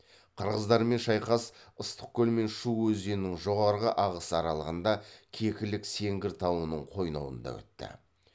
қырғыздармен шайқас ыстықкөл мен шу өзенінің жоғарғы ағысы аралығында кекілік сеңгір тауының қойнауында өтті